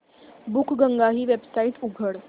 बुकगंगा ही वेबसाइट उघड